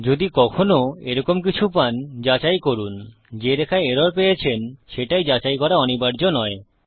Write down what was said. যদি কখনও এরকম কিছু পান যাচাই করুন যে রেখায় এরর পেয়েছেন সেটাই যাচাই করা অনিবার্য নয়